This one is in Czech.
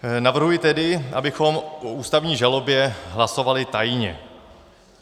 Navrhuji tedy, abychom o ústavní žalobě hlasovali tajně.